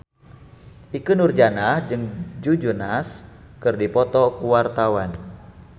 Ikke Nurjanah jeung Joe Jonas keur dipoto ku wartawan